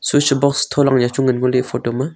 switch box tholang ya chu ngan ngo ley e photo .